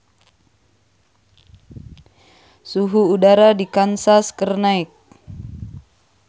Suhu udara di Kansas keur naek